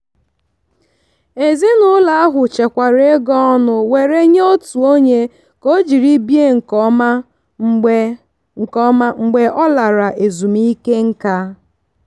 ezinụlọ ahụ chekwara ego ọnụ were nye otu onye ka o jiri bie nke ọma mgbe nke ọma mgbe ọ lara ezumike nká.